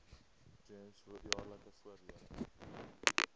gems jaarlikse voordele